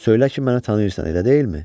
Söylə ki, məni tanıyırsan, elə deyilmi?